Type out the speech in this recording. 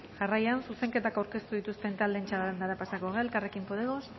jarraian zuzenketak aurkeztu dituzten taldeen txandara pasatuko gara elkarrekin podemos